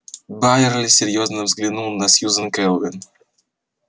байерли серьёзно взглянул на сьюзен кэлвин